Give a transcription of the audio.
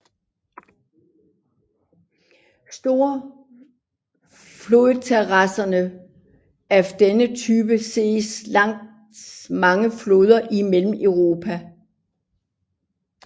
Store flodterrasser af denne type ses langs mange floder i Mellemeuropa